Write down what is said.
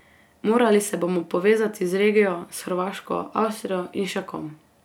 Morali se bomo povezati z regijo, s Hrvaško, Avstrijo in še kom.